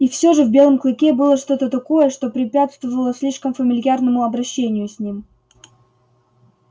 и всё же в белом клыке было что то такое что препятствовало слишком фамильярному обращению с ним